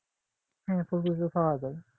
হ্যাঁ পাওয়া যায় ।